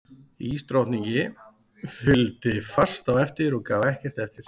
Ísdrottningi fylgdi fast á eftir og gaf ekkert eftir.